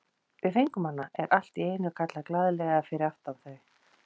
Við fengum hana! er allt í einu kallað glaðlega fyrir aftan þau.